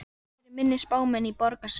Jafnvel fyrir minni spámenn í borgarastétt.